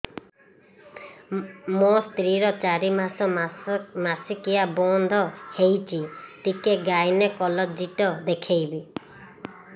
ମୋ ସ୍ତ୍ରୀ ର ଚାରି ମାସ ମାସିକିଆ ବନ୍ଦ ହେଇଛି ଟିକେ ଗାଇନେକୋଲୋଜିଷ୍ଟ ଦେଖେଇବି